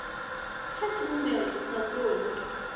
kha tshivhumbeo tshi sa koni